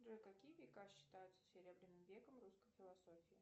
джой какие века считаются серебряным веком русской философии